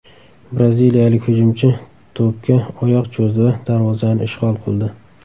Braziliyalik hujumchi to‘pga oyoq cho‘zdi va darvozani ishg‘ol qildi.